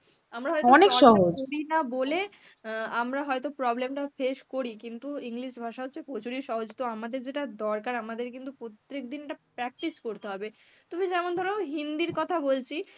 "